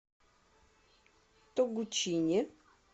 тогучине